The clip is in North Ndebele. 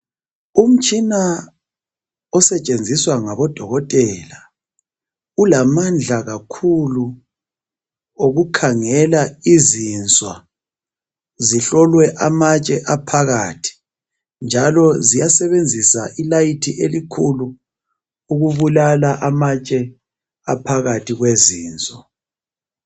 Umtshina osetshenziswa ngabo dokotela ulamandla kakhulu yokukhangela izinswa zihlolwe amatshe aphakathi njalo ziyasebenzisa ilayithi elikhulu ukubulala amtshe aphakathi kwezinswa.